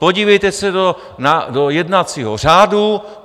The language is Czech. Podívejte se do jednacího řádu.